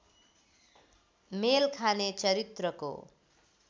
मेल खाने चरित्रको